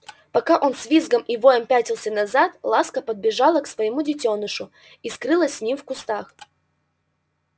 пока он с визгом и воем пятился назад ласка подбежала к своему детёнышу и скрылась с ним в кустах